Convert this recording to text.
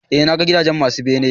eh na ga gidaje masu bene